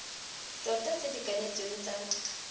tota tse di kanetsweng tsa